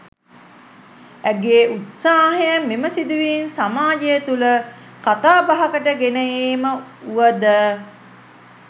ඇගේ උත්සාහය මෙම සිදුවීම් සමාජය තුළ කතාබහකට ගෙන ඒම වුව ද